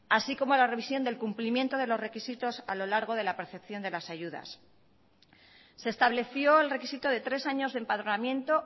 así como la revisión del cumplimiento de los requisitos a lo largo de la percepción de las ayudas se estableció el requisito de tres años de empadronamiento